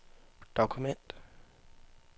dokument